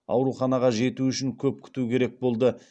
ауруханаға жету үшін көп күту керек болды